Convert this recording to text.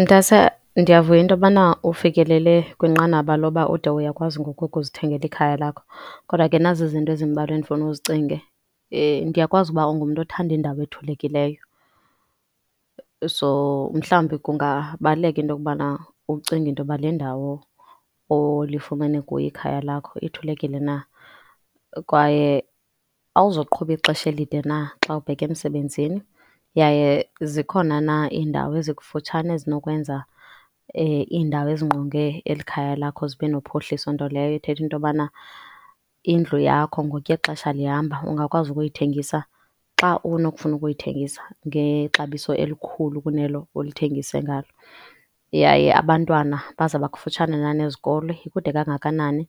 Mntase ndiyavuya into yobana ufikele kwinqanaba lokuba ude uyakwazi ngoku ukuzithengela ikhaya lakho, kodwa ke nazi izinto ezimbalwa endifuna uzicinge. ndiyakwazi uba ungumntu othanda indawo ethulekileyo, so mhlawumbi kungabaluleka into yokubana ucinga into yoba le ndawo olifumene kuyo ikhaya lakho ithulekile na kwaye awuzuqhuba ixesha elide na xa ubheka emsebenzini. Yaye zikhona na indawo ezikufutshane ezinokwenza indawo ezingqonge eli khaya lakho zibe nophuhliso. Nto leyo ithetha into yobana indlu yakho ngokuya ixesha lihamba ungakwazi nokuyithengisa xa unokufuna ukuyithengisa ngexabiso elikhulu kunelo ulithengise ngalo yaye abantwana bazoba kufutshane na nezikolo. Ikude kangakanani